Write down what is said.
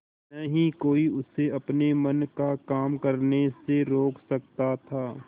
न ही कोई उसे अपने मन का काम करने से रोक सकता था